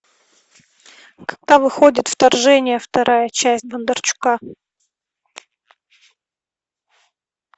когда выходит вторжение вторая часть бондарчука